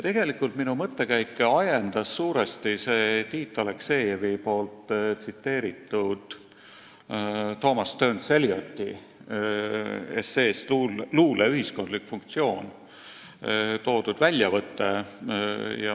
Tegelikult ajendas minu mõttekäike suuresti see Tiit Aleksejevi tsiteeritud väljavõte Thomas Stearns Elioti esseest "Luule ühiskondlik funktsioon".